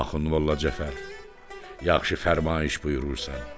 Axund Molla Cəfər, yaxşı fərmayiş buyurursan.